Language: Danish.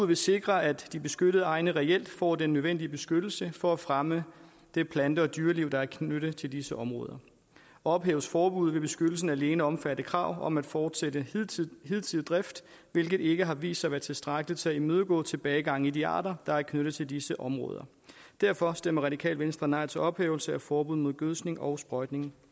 vil sikre at de beskyttede egne reelt får den nødvendige beskyttelse for at fremme det plante og dyreliv der er knyttet til disse områder ophæves forbuddet vil beskyttelsen alene omfatte krav om fortsat hidtidig hidtidig drift hvilket ikke har vist sig at være tilstrækkeligt til at imødegå tilbagegangen i de arter der er knyttet til disse områder derfor stemmer radikale venstre nej til en ophævelse af forbuddet mod gødskning og sprøjtning